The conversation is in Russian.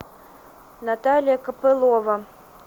наталья копылова